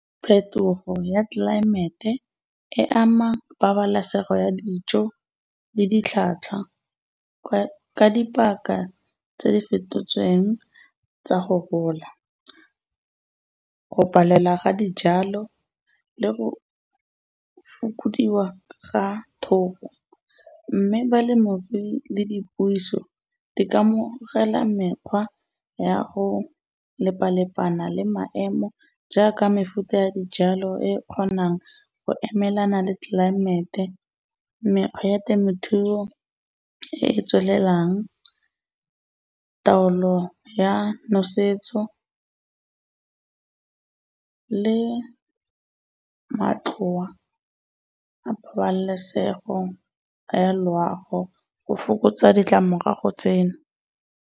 Phetogo ya tlelaemete e ama pabalesego ya dijo le ditlhwatlhwa ka dipaka tse fetotsweng tsa go gola. Go palela ga dijalo le go fokodiwa ga thobo, mme balemirui le dipuiso di ka amogela mekgwa ya go lepalepana le maemo jaaka mefuta ya dijalo e kgonang go emelana le tlelaemete. Mekgwa ya temothuo e e tswelelang, taolo ya nosetso le matloa a pabalesego ya loago go fokotsa ditlamorago tseno.